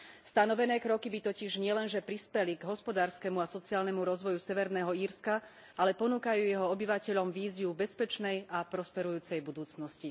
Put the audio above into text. Stanovené kroky by totiž nielenže prispeli k hospodárskemu a sociálnemu rozvoju Severného Írska, ale ponúkajú jeho obyvateľom víziu bezpečnej a prosperujúcej budúcnosti.